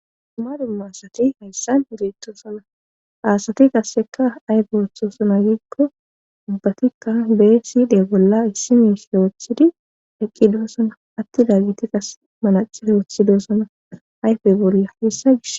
duma duma asati hayssan beettosana aasati qasseka ayfeoththoosana giigko ubbatikka bee siide bolla issi mishe woothidi eqqi doosana atti daagiti qas manace woothidoosana ayfey bolla hessa gish.